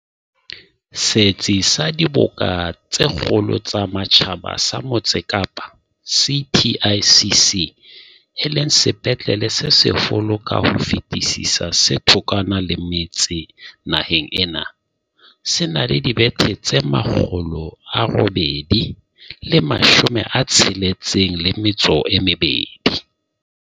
Setsi sa Diboka tse Kgolo tsa Matjhaba sa Motse Kapa, CTICC, e leng sepetlele se seholo ka ho fetisisa se thokwana le metse naheng ena, se na le dibethe tse 862.